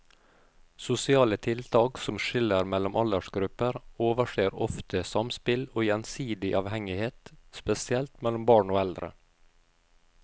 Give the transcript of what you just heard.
Sosiale tiltak som skiller mellom aldersgrupper overser ofte samspill og gjensidig avhengighet, spesielt mellom barn og eldre.